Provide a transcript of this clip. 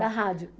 Da rádio?